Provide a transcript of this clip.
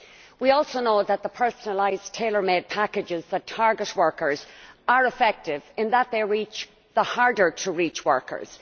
We also know that the personalised, tailor made packages that target workers are effective, in that they reach the harder to reach workers